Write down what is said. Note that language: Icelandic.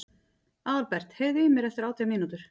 Aðalbert, heyrðu í mér eftir átján mínútur.